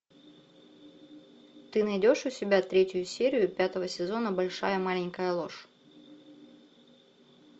ты найдешь у себя третью серию пятого сезона большая маленькая ложь